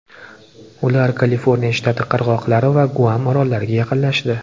Ular Kaliforniya shtati qirg‘oqlari va Guam orollariga yaqinlashdi.